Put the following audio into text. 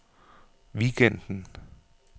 weekenden